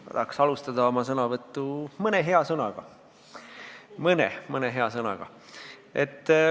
Ma tahaks alustada oma sõnavõttu mõne hea sõnaga – mõne hea sõnaga.